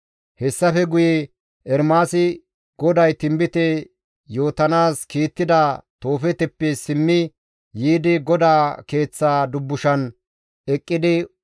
«Hessafe guye Ermaasi GODAY tinbite yootanaas kiittida Toofeeteppe simmi yiidi GODAA Keeththaa dubbushan eqqidi,